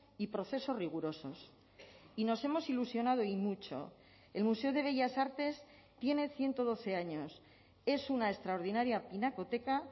y procesos rigurosos y nos hemos ilusionado y mucho el museo de bellas artes tiene ciento doce años es una extraordinaria pinacoteca